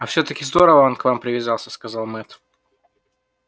а все таки здорово он к вам привязался сказал мэтт